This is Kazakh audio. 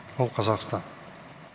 ол қазақстан